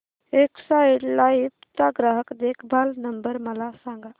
Exide life चा ग्राहक देखभाल नंबर मला सांगा